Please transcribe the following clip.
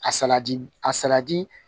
A saladi a salati